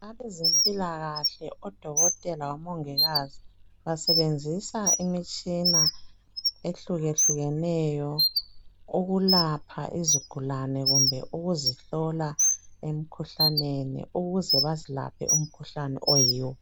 Abezempilakahle odokotela labomongikazi basebenzisa imitshina ehlukehlukeneyo ukulapha izigulane kumbe ukuzihlola emkhuhlaneni ukuze bazelaphe imkhuhlane oyiwo.